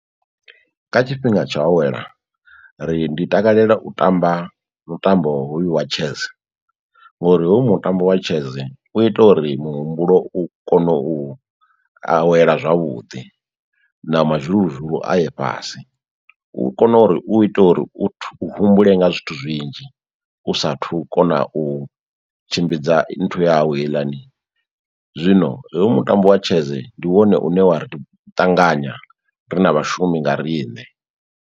Kha tshifhinga tsho awela ri ndi takalela u tamba mutambo hoyu wa chess ngori hoyu mutambo wa chess u ita uri muhumbulo u kone u awela zwavhuḓi na mazhuluzhulu a ye fhasi, u kona uri u itela uri u humbule nga zwithu zwinzhi u sathu kona u tshimbidza nthu yau heiḽani. Zwino heyo mutambo wa chess i ndi wone une wa ri ṱanganya ri na vhashumi nga riṋe.